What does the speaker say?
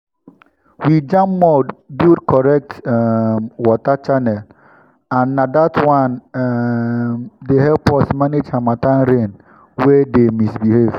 we jam mud build correct um water channel and na that one um dey help us manage harmattan rain wey dey misbehave.